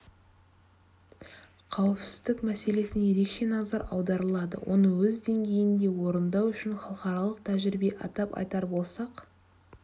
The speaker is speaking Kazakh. қауіпсіздік мәселесіне ерекше назар аударылады оны өз деңгейінде орындау үшін халықаралық тәжірибе атап айтар болсақ